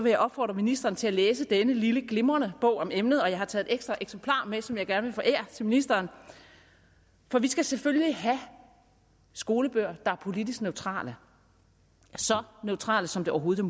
jeg opfordre ministeren til at læse denne lille glimrende bog om emnet og jeg har taget et ekstra eksemplar med som jeg gerne vil forære ministeren for vi skal selvfølgelig have skolebøger der er politisk neutrale så neutrale som det overhovedet